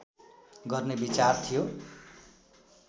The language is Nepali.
गर्ने विचार थियो